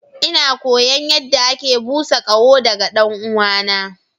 Ina koyon yadda ake busa ƙaho daga ɗan'uwana.